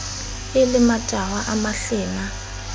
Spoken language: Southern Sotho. e le matahwa a mahlena